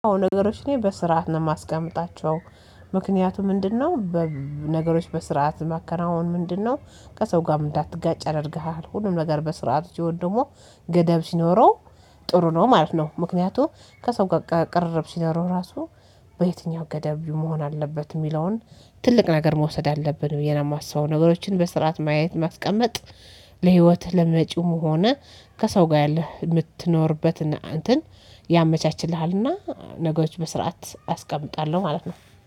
ነገሮች እኔ በስርዓት ነው የማስቀምጣቸው ምክንያቱ ምንድነው? ነገሮች በስርዓት ማከናወን ምንድነው? ከሰው ጋር እንዳትጋጭ ያደርግሃል። ሁሉም ነገር በስርዓት ሲሆን ደግሞ ገደብ ሲኖረው ጥሩ ነው ማለት ነው። ምክንያቱም ከሰው ጋር ቅርርብ ሲኖረው ራሱ በየትኛው ገደብ መሆን አለበት የሚለውን ትልቅ ነገር መውሰድ አለብን ብዬ ነው የማስበው። ነገሮችን በስርዓት ማየት ማስቀመጥ። ለህይወትህ ለመጪውም ሆነ ከሰው ጋር ያለህ የምትኖርበትና እንትን ያመቻችልሃልና። ነገሮች በስርዓት አስቀምጣለሁ ማለት ነው